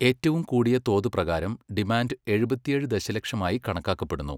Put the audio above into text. ഏറ്റവും കൂടിയ തോത് പ്രകാരം ഡിമാൻഡ് എഴുപത്തിയേഴ് ദശലക്ഷമായി കണക്കാക്കപ്പെടുന്നു.